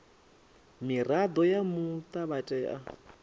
mirado ya muta vha tea